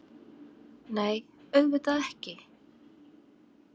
Nei, auðvitað ekki!